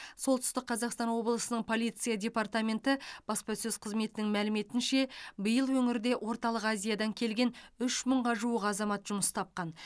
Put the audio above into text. солтүстік қазақстан облысының полиция департаменті баспасөз қызметінің мәліметінше биыл өңірде орталық азиядан келген үш мыңға жуық азамат жұмыс тапқан